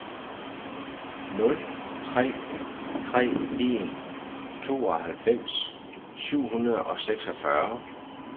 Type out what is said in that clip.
nul tre tre en tooghalvfems syv hundrede og seksogfyrre